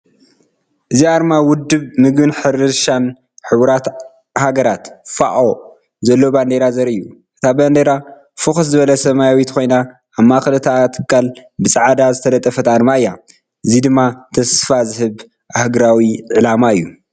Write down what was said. እዚ ኣርማ ውድብ ምግብን ሕርሻን ሕቡራት ሃገራት (ፋኦ) ዘለዎ ባንዴራ ዘርኢ እዩ። እታ ባንዴራ ፍኹስ ዝበለ ሰማያዊት ኮይና፡ ኣብ ማእከል እታ ትካል ብጻዕዳ ዝተለጠፈት ኣርማ እያ። እዚ ድማ ተስፋ ዝህብ ኣህጉራዊ ዕላማ እዩ።